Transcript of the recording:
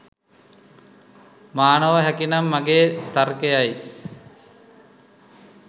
මා නොව හැකිනම් මගේ තර්කයයි.